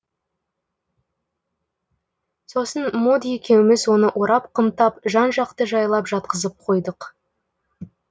сосын мод екеуіміз оны орап қымтап жан жақты жайлап жатқызып қойдық